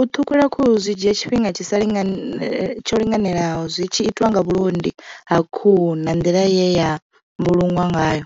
U ṱhukhula khuhu zwi dzhia tshifhinga tshi sa lingani, tsho linganelaho zwi tshi itiwa nga vhulondi ha khuhu na nḓila ye ya mbulungwa ngayo.